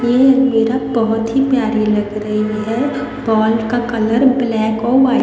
ये अलमीरा बहुत ही प्यारी लग रही है बॉल का कलर ब्लैक और वाइट --